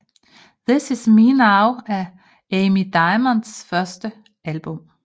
This Is Me Now er Amy Diamonds første album